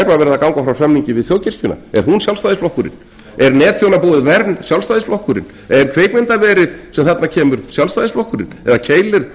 að ganga frá samningi við þjóðkirkjuna er hún sjálfstæðisflokkurinn er netþjónabúið sjálfstæðisflokkurinn er kvikmyndaverið sem þarna kemur sjálfstæðisflokkurinn eða keilir